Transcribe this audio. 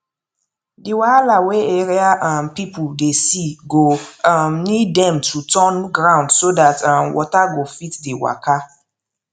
the wahala wey area um people dey see go um need dem to turn ground so that um water go fit dey waka